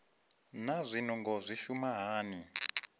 naa zwinungo zwi shuma hani